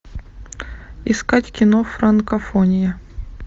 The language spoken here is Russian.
искать кино франкофония